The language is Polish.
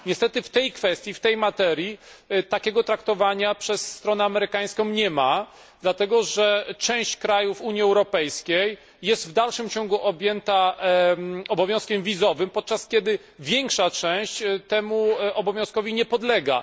Niestety w tej kwestii, w tej materii takiego traktowania przez stronę amerykańską nie ma, dlatego że część krajów Unii Europejskiej jest w dalszym ciągu objęta obowiązkiem wizowym, podczas gdy większa część temu obowiązkowi nie podlega.